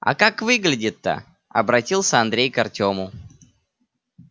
а как выглядит-то обратился андрей к артему